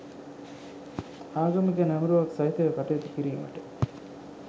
ආගමික නැඹුරුවක් සහිතව කටයුතු කිරීමට